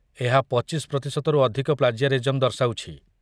ଏହା ୨୫% ରୁ ଅଧିକ ପ୍ଲାଜିଆରିଜମ୍ ଦର୍ଶାଉଛି।